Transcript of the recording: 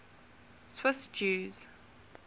swiss jews